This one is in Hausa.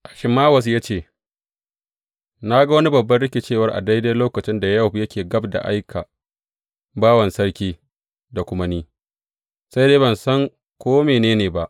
Ahimawaz ya ce, Na ga wani babban rikicewar a daidai lokacin da Yowab yake gab da aikan bawan sarki da kuma ni, sai dai ban san ko mene ne ba.